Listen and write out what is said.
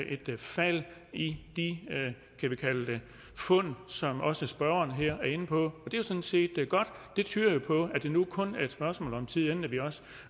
et fald i de fund som også spørgeren her er inde på og det er sådan set godt det tyder jo på at det nu kun er et spørgsmål om tid inden vi også